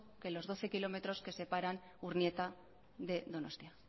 que los doce kilómetros que separan urnieta de donostia